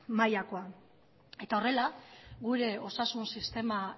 mailakoa eta horrela gure osasun sistema